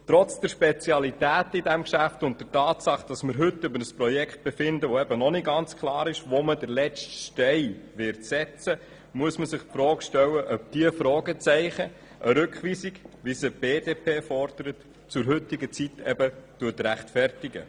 Trotz der Spezialitäten dieses Geschäfts und der Tatsache, dass wir heute über ein Projekt befinden, bei welchem noch nicht ganz klar ist, wo der letzte Stein gesetzt wird, muss man sich die Frage stellen, ob diese Fragezeichen eine Rückweisung, wie sie die BDP fordert, zum heutigen Zeitpunkt rechtfertigen.